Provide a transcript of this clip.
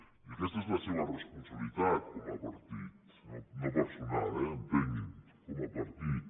i aquesta és la seva responsabilitat com a partit no personal eh entengui’m com a partit